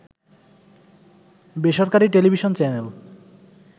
বেসরকারী television channel